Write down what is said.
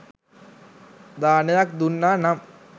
දානයක් දුන්නා නම්